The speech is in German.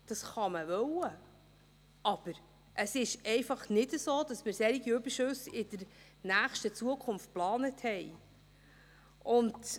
Das kann man wollen, aber es ist einfach nicht so, dass wir solche Überschüsse in nächster Zukunft geplant haben.